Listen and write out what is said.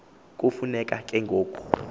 kufuneka ke ngoko